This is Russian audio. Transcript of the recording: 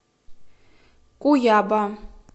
куяба